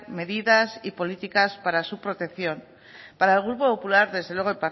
medidas y políticas para su protección para el grupo popular desde luego